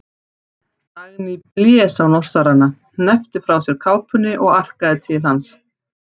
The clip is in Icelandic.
Dagný blés á Norsarana, hneppti frá sér kápunni og arkaði til hans.